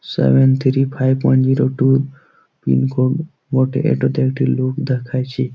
Seven three five one zero two pincode বটে ।এটাতে একটি লোক দেখাইছে।